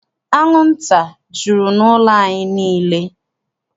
Anwụnta jụrụ n'ụlọ anyị niile.